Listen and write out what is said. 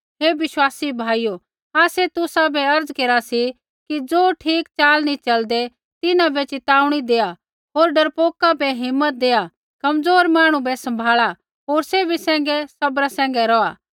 हे विश्वासी भाइयो आसै तुसाबै अर्ज़ केरा सी कि ज़ो ठीक च़ाल नी च़लदै तिन्हां बै चेताऊणी देआ होर डरपोका बै हिम्मत दैआत् कमज़ोर मांहणु बै सँभाला होर सैभी सैंघै सब्रा सैंघै रौहा